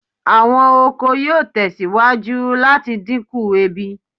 Awọn oko yoo tẹsiwaju lati dinku ebi